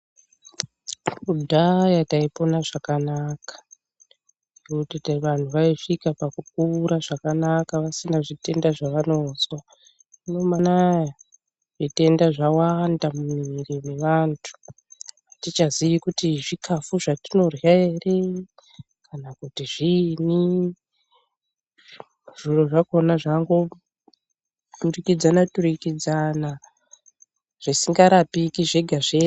Kudhaya taipona zvakanaka nekuti vantu vaisvika pakukura zvakanaka vasina zvitenda zvavanozwa. Zvino mazuva anaya zvitenda zvawanda mumiri mevantu hatichaziyi kuti zvikafu zvetinorya ere. Kana kuti zviini zviro zvakona zvangoturikidzana-turikidzana zvisingarapiki zvega-zvega.